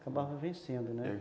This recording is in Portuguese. Acabava vencendo, né?